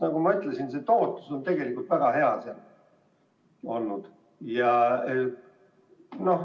Nagu ma ütlesin, tootlus on tegelikult väga hea olnud.